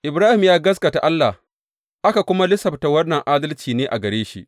Ibrahim ya gaskata Allah, aka kuma lissafta wannan adalci ne a gare shi.